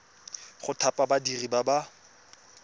go thapa badiri ba ba